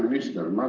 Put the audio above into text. Hea minister!